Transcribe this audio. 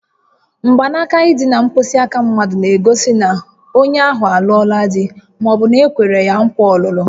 Mgbanaka ịdị na mkpịsị aka mmadụ na-egosi na onye ahụ alụọla di ma ọ bụ na-ekwere ya nkwa ọlụlụ